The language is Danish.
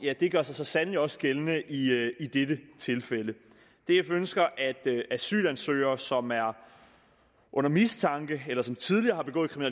gør sig så sandelig også gældende i i dette tilfælde df ønsker at asylansøgere som er under mistanke eller som tidligere har begået